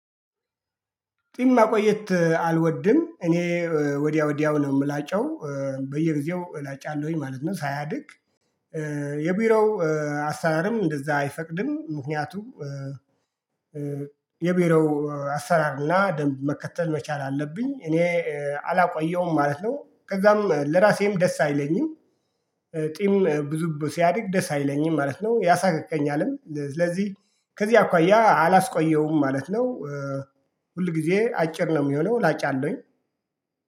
ጺም ማቆየት አልወድም እኔ ወዲያ ወዲያው ነው የምላጨው በየጊዜው እላጫለሁኝ ማለት ነው ሳያድግ። የቢሮው አሰራርም እንደዛ አይፈቅድም ምክንያቱም የቢሮው አሰራርና ደንብ መከተል መቻል አለብኝ እኔ አላቆየውም ማለት ነው። ከዛም ለራሴም ደስ አይለኝም። ጢም ብዙ ሲያድግ ደስ አይለኝም ማለት ነው ያሳክከኛልም ስለዚህ ከዚህ አኳያ አላስቆየውም ማለት ነው። ሁል ጊዜ አጭር ነው የሚሆነው ላጫለሁኝ።